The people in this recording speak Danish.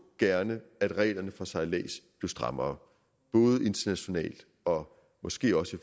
gerne at reglerne for sejlads blev strammere både internationalt og måske også i